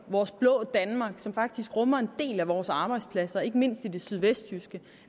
vores blå danmark som faktisk rummer en del af vores arbejdspladser ikke mindst i det sydvestjyske